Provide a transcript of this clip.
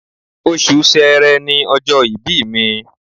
Oṣù Sẹẹrẹ ni ọjọ́ ìbí mi